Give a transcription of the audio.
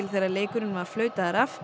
þegar leikurinn var flautaður af